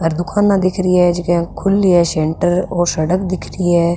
और दुकान दिखरी है जक्या के खुली है सेण्टर और सड़क दिख रही है।